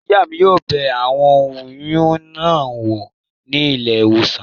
Ìyá mi yóò bẹ aboyún náà wò ní ilé ìwòsàn